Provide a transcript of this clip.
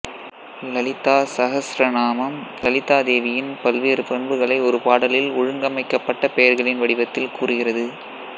லலிதா சஹஸ்ரநாமம் லலிதா தேவியின் பல்வேறு பண்புகளை ஒரு பாடலில் ஒழுங்கமைக்கப்பட்ட பெயர்களின் வடிவத்தில் கூறுகிறது